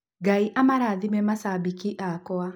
Ngai amũrathime macabiki akwa.